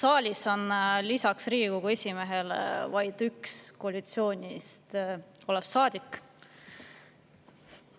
Saalis on lisaks Riigikogu esimehele vaid üks koalitsioonis olev saadik.